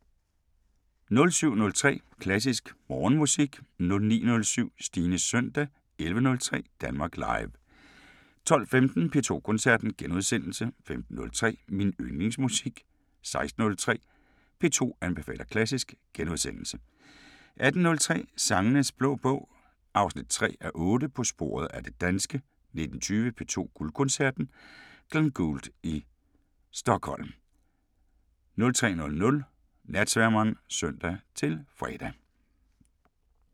07:03: Klassisk Morgenmusik 09:07: Stines søndag 11:03: Danmark Live 12:15: P2 Koncerten * 15:03: Min Yndlingsmusik 16:03: P2 anbefaler klassisk * 18:03: Sangenes Blå Bog 3:8 – På sporet af det danske 19:20: P2 Guldkoncerten: Glenn Gould i Stockholm 03:00: Natsværmeren (søn-fre)